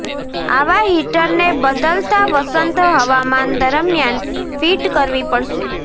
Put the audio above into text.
આવા હીટરને બદલતા વસંત હવામાન દરમિયાન ફિટ કરવી પડશે